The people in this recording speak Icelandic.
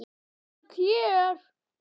Þau eru öll hér.